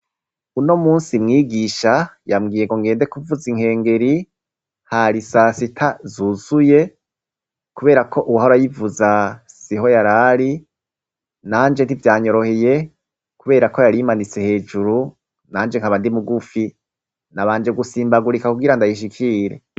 Uno munsi, mwigisha yambwiye ngo ngende kuvuza inkengeri, hari sasita zuzuye, kubera ko uwahora ayivuza siho yari ari. Nanje ntivyanyoroheye kubera ko yari imanitse hejuru, nanje nkaba ndi mugufi. Nabanje gusimbagurika kugira ndayishikire.